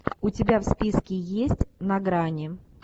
у тебя в списке есть на грани